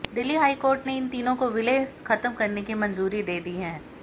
Delhi high court ने इन तीनों को विलय खत्म करने की मंजूरी दे दी है